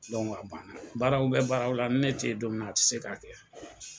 a banna baaraw bɛ baaraw la ni ne tɛ ye don min a tɛ se ka kɛ.